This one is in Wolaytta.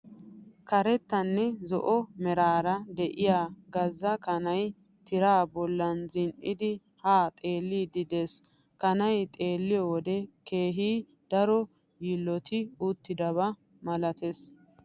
Karettanne zo'o meraara de'iya gazza kanay tira bolli zin'idi haa xeelliiddi de"ees. Kanay xeelliyo wode keehi daro yiilloti uttidabaa milatees.